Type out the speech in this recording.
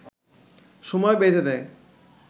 সময় বেঁধে দেয়